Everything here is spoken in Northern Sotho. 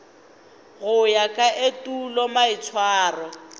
go ya ka etulo maitshwaro